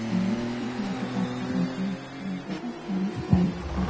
यह एक water park की फोटो है जहां बहुत सारी स्लाइड्स हैं।